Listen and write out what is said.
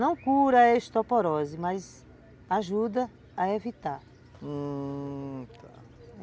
Não cura a osteoporose, mas ajuda a evitar, hum...